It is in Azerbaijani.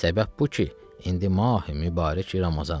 Səbəb bu ki, indi Mahi Mübarək Ramazandır.